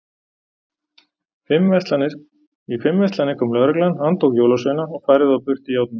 Í fimm verslanir kom lögreglan, handtók jólasveina og færði þá burt í járnum.